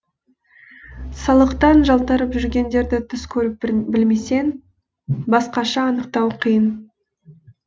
салықтан жалтарып жүргендерді түс көріп білмесең басқаша анықтау қиын